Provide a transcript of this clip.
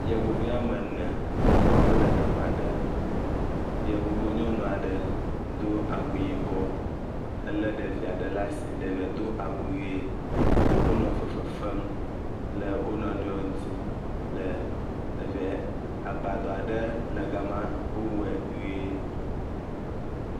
Yevuvi woame ene wole teƒe aɖe, yevu nyɔnu aɖe do awu yibɔ ele ɖevi aɖe ɖe asi wonɔ fefe fem le wo nɔnɔewo ŋuti le teƒee agbadɔ aɖe le gama wowɔe nyuie.